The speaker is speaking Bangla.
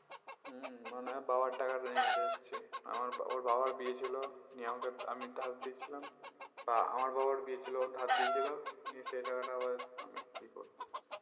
হম মনে হয় বাবার টাকা টা নিয়ে যাচ্ছি আমার ওর বাবার বিয়ে ছিল নিয়ে আমাকে আমি ধার দিয়েছিলাম বা আমার বাবার বিয়ে ছিল ও ধার দিয়েছিলো নিয়ে সেই টাকাটা আবার